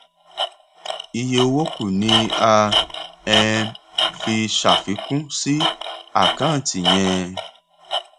iye owó kù ni a um fi ṣàfikún sí àkáǹtì yẹn